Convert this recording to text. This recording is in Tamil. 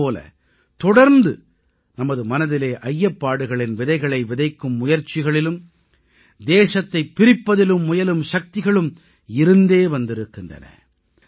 அதே போல தொடர்ந்து நமது மனதிலே ஐயப்பாடுகளின் விதைகளை விதைக்கும் முயற்சிகளிலும் தேசத்தைப் பிரிப்பதிலும் முயலும் சக்திகளும் இருந்தே வந்திருக்கின்றன